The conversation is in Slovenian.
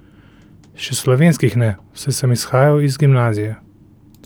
Še slovenskih ne, saj sem izhajal iz gimnazije.